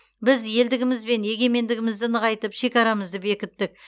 біз елдігіміз бен егемендігімізді нығайтып шекарамызды бекіттік